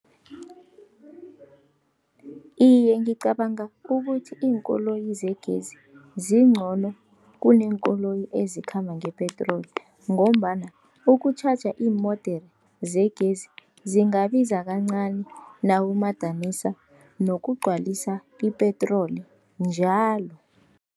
Iye, ngicabanga ukuthi iinkoloyi zegezi zincono kuneenkoloyi ezikhamba ngepetroli, ngombana ukutjhaja iimodere zegezi zingabiza kancani nawumadanisa nokugcwalisa ipetroli njalo.